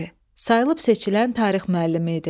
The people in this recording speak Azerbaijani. Sayılıb seçilən tarix müəllimi idi.